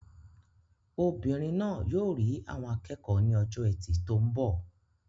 Obìnrin náà yóò rí àwọn akẹ́kọ̀ọ́ ní ọjọ́ Ẹtì tó ń bọ̀.